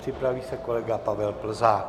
Připraví se kolega Pavel Plzák.